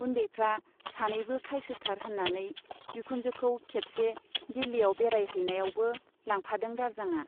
उन्दैफ्रा सानैबो खायसोथार होन्नानै बिखुनजोखौ खेबसे दिल्लीयाव बेराय हैनायावबो लांफादों दारजांआ।